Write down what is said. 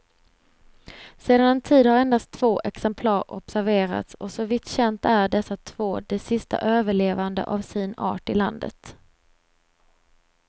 Sedan en tid har endast två exemplar observerats och så vitt känt är dessa två de sista överlevande av sin art i landet.